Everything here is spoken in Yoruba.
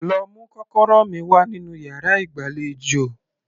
Lọ mú kọ́kọ́rọ́ mi wá nínú yàrá ìgbàlejò